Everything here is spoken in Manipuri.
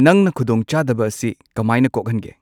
ꯅꯪꯅ ꯈꯨꯗꯣꯡ ꯆꯥꯗꯕ ꯑꯁꯤ ꯀꯃꯥꯏꯅ ꯀꯣꯛꯍꯟꯒꯦ